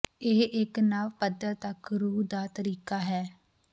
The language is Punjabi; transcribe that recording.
ਇਹ ਇੱਕ ਨਵ ਪੱਧਰ ਤੱਕ ਰੂਹ ਦਾ ਤਰੀਕਾ ਹੈ